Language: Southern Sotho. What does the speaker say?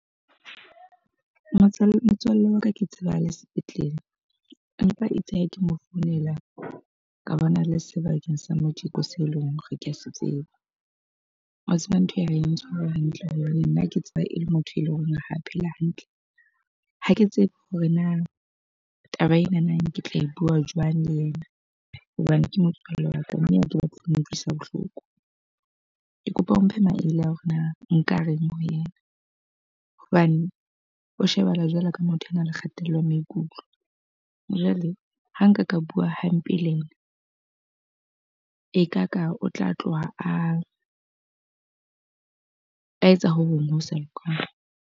Motswalle. Motswalle wa ka ke tseba a le sepetlele. Empa itse ha ke mo founela, ka bona a le sebakeng sa motho se leng hore ke a se tseba. Wa tseba ntho e ha e ntshware hantle hobane nna ke tseba e le motho e leng hore ha a phela hantle. Ha ke tsebe hore na taba enana ke tla e bua jwang le yena hobane ke motswalle wa ka mme ha ke batle ho utlwisa bohloko. Ke kopa o mphe maele a hore na nka reng ho yena hobane o shebahala jwalo ka motho a nang le kgatello ya maikutlo. Jwale ha nka ka bua hampe le ena, e ka ka o tla tloha a a etsa ho hong ho sa lokang.